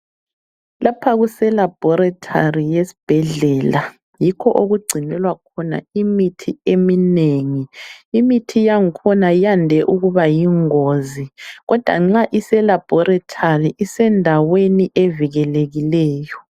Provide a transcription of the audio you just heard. Lapha kuse Laboratory yesibhedlela yikho okugcinelwa khona imithi eminengi. Imithi yakhona yande ukuba yingozi. Kodwa nxa ise Laboratory isendaweni evikelekileyo.